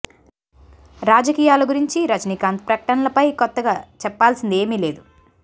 రాజకీయాల గురించి రజనీకాంత్ ప్రకటనల పై కొత్తగా చెప్పాల్సింది ఏమీ లేదు